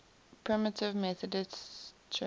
primitive methodist church